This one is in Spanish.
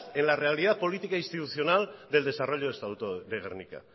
en la realidad política institucional del desarrollo de estatuto de gernika